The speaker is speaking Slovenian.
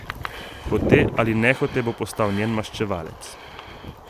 Hote ali nehote bo postal njen maščevalec.